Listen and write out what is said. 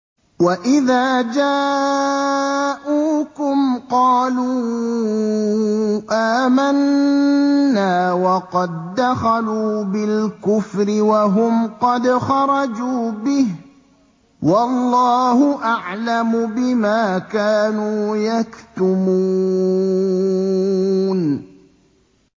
وَإِذَا جَاءُوكُمْ قَالُوا آمَنَّا وَقَد دَّخَلُوا بِالْكُفْرِ وَهُمْ قَدْ خَرَجُوا بِهِ ۚ وَاللَّهُ أَعْلَمُ بِمَا كَانُوا يَكْتُمُونَ